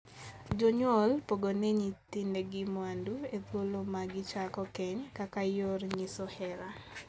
Jonyuol pogone nyithindegi mwandu e thuolo ma gichako keny kaka yor nyiso hera.